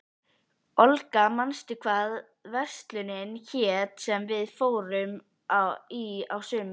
Olga, manstu hvað verslunin hét sem við fórum í á sunnudaginn?